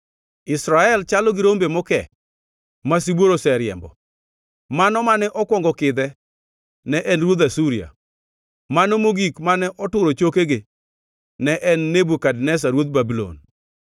“Israel chalo gi rombe mokee ma sibuor oseriembo. Mano mane okwongo kidhe ne en ruodh Asuria; mano mogik mane oturo chokege ne en Nebukadneza ruodh Babulon.”